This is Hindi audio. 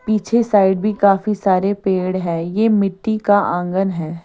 पीछे साइड भी काफी सारे पेड़ हैं ये मिट्टी का आंगन है।